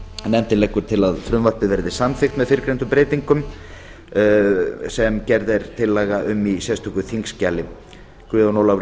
nefndin leggur til að frumvarpið verði samþykkt með fyrrnefndum breytingum sem gerð er tillaga um í sérstöku þingskjali guðjón ólafur